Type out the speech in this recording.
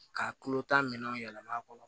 Ka tulo ta minɛnw yɛlɛma kɔnɔ